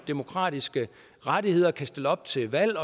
demokratiske rettigheder og kan stille op til valg